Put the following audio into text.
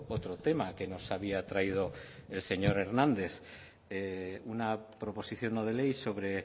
otro tema que nos había traído el señor hernández una proposición no de ley sobre